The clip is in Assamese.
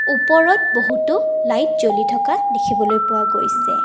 ওপৰত বহুতো লাইট জ্বলি থকা দেখিবলৈ পোৱা গৈছে।